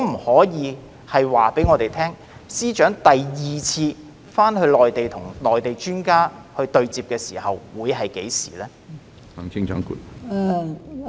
可否告訴我們，司長何時會再到內地與內地專家進行第二次對接會議？